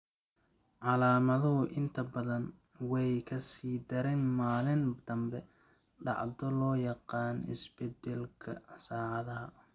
Calaamaduhu inta badan way ka sii daraan maalinta dambe, dhacdo loo yaqaan isbedbeddelka saacadaha.